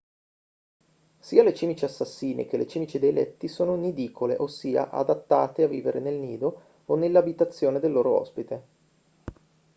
sia le cimici assassine che le cimici dei letti sono nidicole ossia adattate a vivere nel nido o nell'abitazione del loro ospite